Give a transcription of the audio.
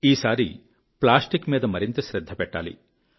ఈసారి ప్లాస్టిక్ మీద మరింత శ్రద్ధ పెట్టాలి